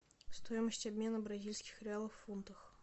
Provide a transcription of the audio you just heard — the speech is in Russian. стоимость обмена бразильских реалов в фунтах